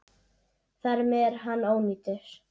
Þar með er hann ónýtur.